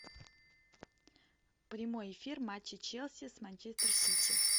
прямой эфир матча челси с манчестер сити